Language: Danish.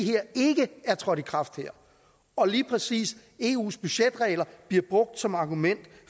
her ikke er trådt i kraft og lige præcis eus budgetregler bliver brugt som argument